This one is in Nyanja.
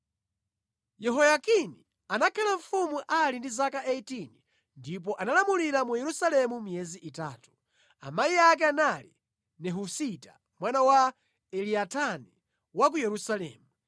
Yehoyakini anakhala mfumu ali ndi zaka 18 ndipo analamulira mu Yerusalemu miyezi itatu. Amayi ake anali Nehusita mwana wa Elinatani wa ku Yerusalemu.